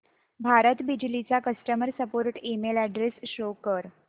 भारत बिजली चा customer support email address show कर